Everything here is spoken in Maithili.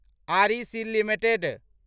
REC limited